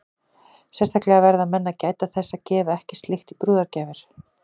Sérstaklega verða menn að gæta þess að gefa ekki slíkt í brúðargjafir.